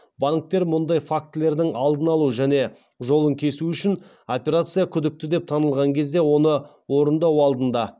банктер мұндай фактілердің алдын алу және жолын кесу үшін операция күдікті деп танылған кезде оны орындау алдында